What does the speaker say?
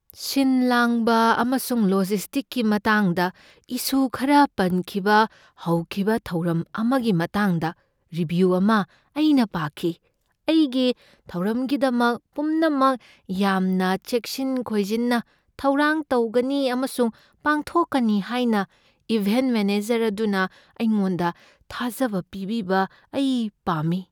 ꯁꯤꯟ ꯂꯥꯡꯕ ꯑꯃꯁꯨꯡ ꯂꯣꯖꯤꯁꯇꯤꯛꯁꯀꯤ ꯃꯇꯥꯡꯗ ꯏꯁꯨ ꯈꯔ ꯄꯟꯈꯤꯕ ꯍꯧꯈꯤꯕ ꯊꯧꯔꯝ ꯑꯃꯒꯤ ꯃꯇꯥꯡꯗ ꯔꯤꯚ꯭ꯌꯨ ꯑꯃ ꯑꯩꯅ ꯄꯥꯈꯤ꯫ ꯑꯩꯒꯤ ꯊꯧꯔꯝꯒꯤꯗꯃꯛ ꯄꯨꯝꯅꯃꯛ ꯌꯥꯝꯅ ꯆꯦꯛꯁꯤꯟ ꯈꯣꯏꯖꯤꯟꯅ ꯊꯧꯔꯥꯡ ꯇꯧꯒꯅꯤ ꯑꯃꯁꯨꯡ ꯄꯥꯡꯊꯣꯛꯀꯅꯤ ꯍꯥꯏꯅ ꯏꯚꯦꯟꯠ ꯃꯦꯅꯦꯖꯔ ꯑꯗꯨꯅ ꯑꯩꯉꯣꯟꯗ ꯊꯥꯖꯕ ꯄꯤꯕꯤꯕ ꯑꯩ ꯄꯥꯝꯃꯤ꯫